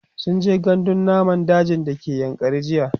sunje gandun namun daji da ke yankari jiya